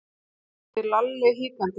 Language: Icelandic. spurði Lalli hikandi.